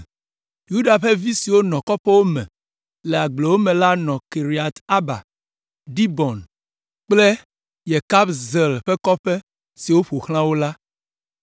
Yuda ƒe vi siwo nɔ kɔƒewo me le agblewo me la nɔ Kiriat Arba, Dibon kple Yekabzeel kple kɔƒe siwo ƒo xlã wo la.